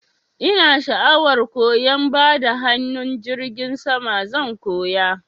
Ina sha'awar koyan bada hanun jirgin sama, zan koya.